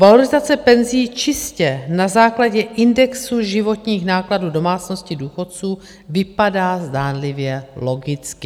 Valorizace penzí čistě na základě indexu životních nákladů domácností důchodců vypadá zdánlivě logicky.